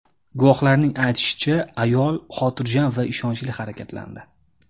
Guvohlarning aytishicha, ayol xotirjam va ishonchli harakatlandi.